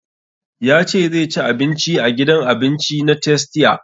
Ya ce zai ci abinci a gidan abinci na tastia